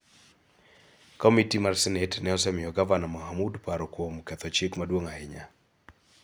Komiti mar Senet ne osemiyo Gavana Mohamud paro kuom ketho chik maduong� ahinya.